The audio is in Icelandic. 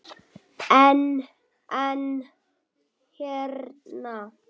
En, en hérna.